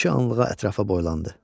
Bir-iki anlığa ətrafa boylandı.